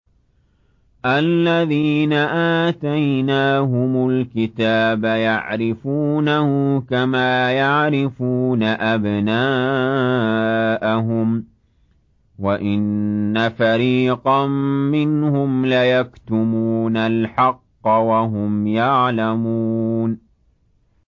الَّذِينَ آتَيْنَاهُمُ الْكِتَابَ يَعْرِفُونَهُ كَمَا يَعْرِفُونَ أَبْنَاءَهُمْ ۖ وَإِنَّ فَرِيقًا مِّنْهُمْ لَيَكْتُمُونَ الْحَقَّ وَهُمْ يَعْلَمُونَ